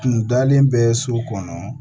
N kun dalen bɛ so kɔnɔ